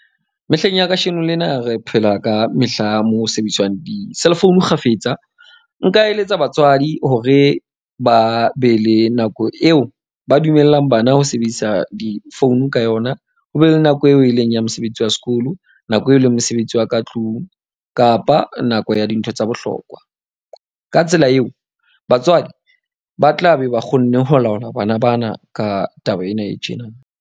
Mehleng ya kasheno lena re phela ka mehla moo sebediswang di-cell phone kgafetsa. Nka eletsa batswadi hore ba be le nako eo ba dumellang bana ho sebedisa difounu ka yona. Ho be le nako eo e leng ya mosebetsi wa sekolo, nako eo leng mosebetsi wa ka tlung kapa nako ya dintho tsa bohlokwa. Ka tsela eo batswadi ba tlabe ba kgonne ho laola bana bana ka taba ena e tjena.